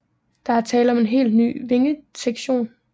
Der er tale om en helt ny vingesektion